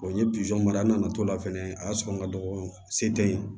n ye mara a nana to la fɛnɛ a y'a sɔrɔ n ka dɔgɔ se tɛ n ye